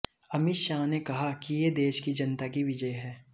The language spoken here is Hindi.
अमित शाह ने कहा कि ये देश की जनता की विजय है